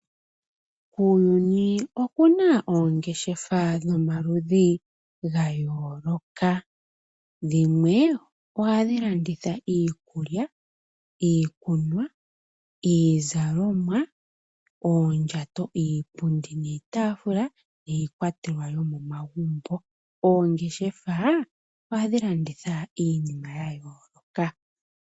Kuuyuni oku na oongeshefa dhomaludhi ga yooloka. Dhimwe ohadhi landitha iikulya, iikunwa, iizalomwa, oondjato, iipundi niitaafula niikwatelwa yomomagumbo. Oongeshefa ohadhi landitha iinima ya yooloka.